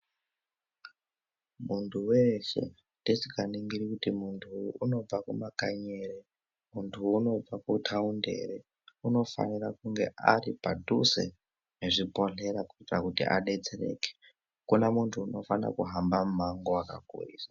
Muntu weshe tisinga ningiri kuti muntu unobva kuma kanyi ere muntu unobva ku taunti ere unofanira kunge ari padhuze ne zvi bhodhlera kuitira kuti adetsereke akuna muntu anofana kuhamba mu mango wakakurisa.